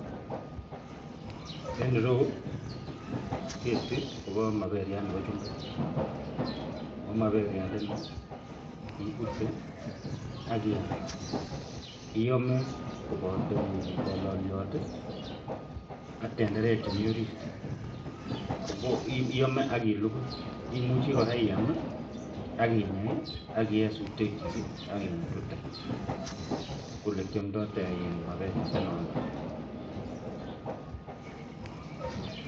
En ireyu ko ketiton Koba maberiat Nebo chumbek ako maberiat niton ibute Akiyam iyome kobato balaliot AK tenderek Chemiten yoton orit akilugui ako imuche iyam akinyei, akiye sutek chik akingutute koyelekiamdoi maberek chuton